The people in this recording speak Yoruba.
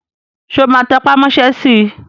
Ṣé o máa tẹpà mọ́ sẹ́ si?